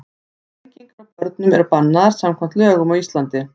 Flengingar á börnum eru bannaðar samkvæmt lögum á Íslandi.